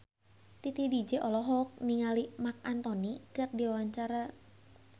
Titi DJ olohok ningali Marc Anthony keur diwawancara